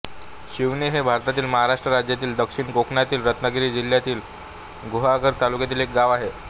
शिवणे हे भारतातील महाराष्ट्र राज्यातील दक्षिण कोकणातील रत्नागिरी जिल्ह्यातील गुहागर तालुक्यातील एक गाव आहे